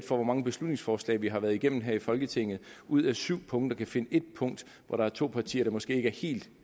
hvor mange beslutningsforslag vi har været igennem her i folketinget ud af syv punkter kan finde ét punkt hvor to partier måske ikke er helt